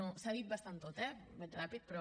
s’ha dit bastant tot eh vaig ràpid però